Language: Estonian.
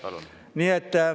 Palun!